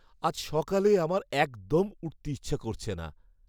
আজ সকালে আমার একদম উঠতে ইচ্ছা করছে না।